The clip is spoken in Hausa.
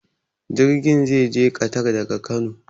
Jirgin zai je ƙatar daga Kano.